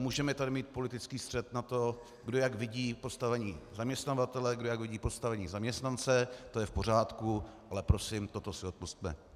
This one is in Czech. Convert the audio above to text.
Můžeme tady mít politický střet na to, kdo jak vidí postavení zaměstnavatele, kdo jak vidí postavení zaměstnance, to je v pořádku, ale prosím, toto si odpusťme.